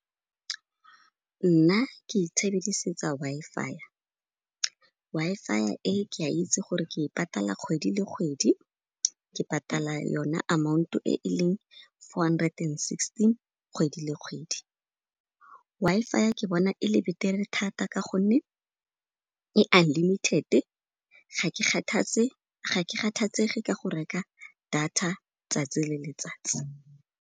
Nna ke itshebisetsa Wi-Fi. Wi-Fi e ke a itse gore ke patala kgwedi le kgwedi, ke patala yona amount-o e e leng four hundred and sixteen kgwedi le kgwedi. Wi-Fi ke bona e le betere thata ka gonne e unlimited-e, ga ke kgathetse, ga ke kgatshetsege ka go reka data tsatsi le letsatsi.